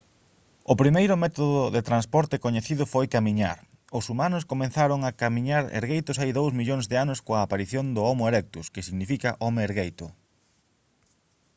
o primeiro método de transporte coñecido foi camiñar; os humanos comezaron a camiñar ergueitos hai dous millóns de anos coa aparición do homo erectus que significa «home ergueito»